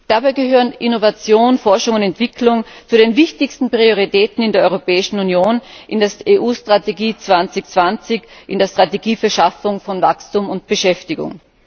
Dabei gehören Innovation, Forschung und Entwicklung zu den wichtigsten Prioritäten in der Europäischen Union in der Strategie Europa 2020, der Strategie zur Schaffung von Wachstum und Beschäftigung.